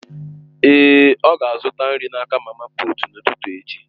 Èé, ọ ga-azụta nri n'aka mama puut n'ụtụtụ echi.